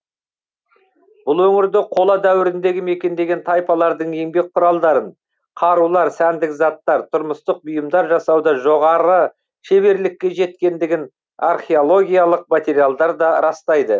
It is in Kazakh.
бұл өңірді қола дәуіріндегі мекендеген тайпалардың еңбек құралдарын қарулар сәндік заттар тұрмыстық бұйымдар жасауда жоғары шеберлікке жеткендігін археологиялық материалдар да растайды